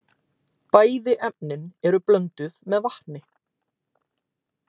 Bæði efnin eru blönduð með vatni.